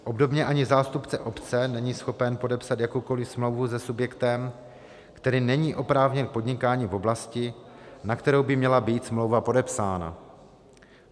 Obdobně ani zástupce obce není schopen podepsat jakoukoliv smlouvu se subjektem, který není oprávněn k podnikání v oblasti, na kterou by měla být smlouva podepsána.